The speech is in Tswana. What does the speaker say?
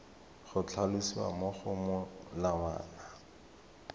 go tlhalosiwa mo go molawana